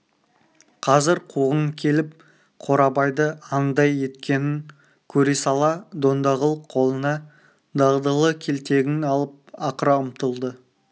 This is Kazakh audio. қазір қуғын келіп қорабайды анадай еткенін көре сала дондағұл қолына дағдылы келтегін алып ақыра ұмтылды